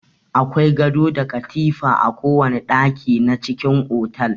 Akwai gado da katifa a kowana ɗaki na cikin otal.